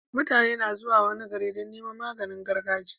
Mutane na zuwa wani gari Dan Neman maganin gargajiya